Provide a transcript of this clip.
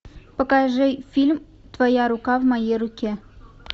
покажи фильм твоя рука в моей руке